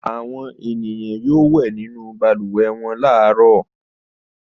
Àwọn ènìyàn yóò wẹ̀ nínú balùwẹ̀ wọn láàárọ̀.